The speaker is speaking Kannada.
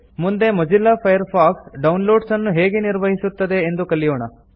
ಮುಂದೆ ಮೊಜಿಲ್ಲಾ ಫೈರ್ಫಾಕ್ಸ್ ಡೌನ್ಲೋಡ್ಸ್ ಅನ್ನು ಹೇಗೆ ನಿರ್ವಹಿಸುತ್ತದೆ ಎಂದು ಕಲಿಯೋಣ